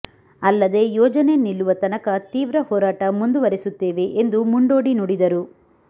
ಅಲ್ಲದೆ ಯೋಜನೆ ನಿಲ್ಲುವ ತನಕ ತೀವ್ರ ಹೋರಾಟ ಮುಂದುವರೆಸುತ್ತೇವೆ ಎಂದು ಮುಂಡೋಡಿ ನುಡಿದರು